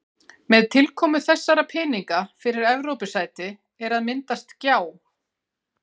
Með tilkomu þessara peninga fyrir Evrópusæti er að myndast gjá.